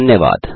धन्यवाद